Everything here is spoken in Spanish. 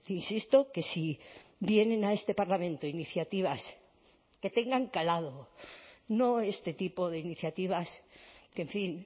insisto que si vienen a este parlamento iniciativas que tengan calado no este tipo de iniciativas que en fin